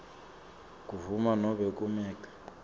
kundvuna nobe kumec